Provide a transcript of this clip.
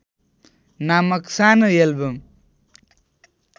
नामक सानो एल्बम